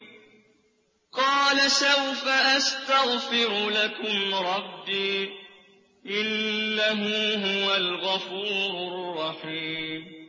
قَالَ سَوْفَ أَسْتَغْفِرُ لَكُمْ رَبِّي ۖ إِنَّهُ هُوَ الْغَفُورُ الرَّحِيمُ